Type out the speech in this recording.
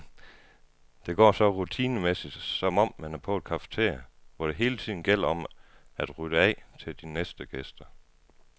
Det går så rutinemæssigt, som om man er på et cafeteria, hvor det hele tiden gælder om at rydde af til de næste gæster.